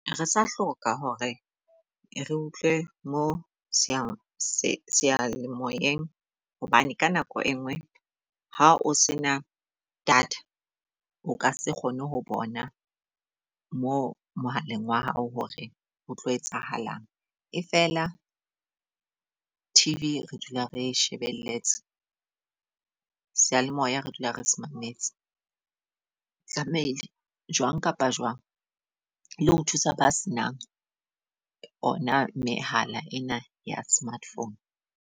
Re sa hloka hore re utlwe mo seyalemoyeng hobane ka nako e nngwe ha o se na data, o ka se kgone ho bona mo mohaleng wa hao hore o tlo etsahalang. E feela T_V re dula re shebeletse, seyalemoya re dula re se mametse. Tlamehile jwang kapa jwang le ho thusa ba se nang ona mehala ena ya smart-phone.